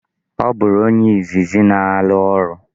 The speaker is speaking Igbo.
Ọ bụrụ onye izizi na-ala orụ.